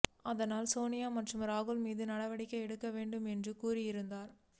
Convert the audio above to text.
அதனால் சோனியா மற்றும் ராகுல் மீது நடவடிக்கை எடுக்க வேண்டும் என்று கூறியிருந்தார்